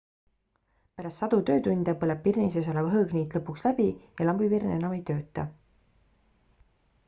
pärast sadu töötunde põleb pirni sees olev hõõgniit lõpuks läbi ja lambipirn enam ei tööta